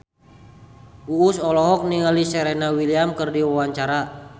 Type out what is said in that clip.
Uus olohok ningali Serena Williams keur diwawancara